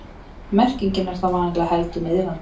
Merkingin er þá vanalega heldur niðrandi.